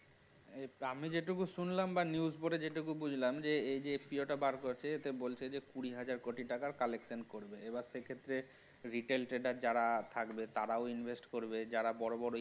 আমি যেটুকু শুনলাম বা news পড়ে যতটুকু বুঝলাম যে এই যে FPO টা বের করেছে এখানে বলতে গেলে কুড়ি হাজার টাকার collection পড়বে এবার সে ক্ষেত্রে retail trader যারা থাকবে তারাও invest করবে যারা বড় বড়